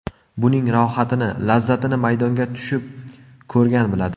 Buning rohatini, lazzatini maydonga tushib ko‘rgan biladi.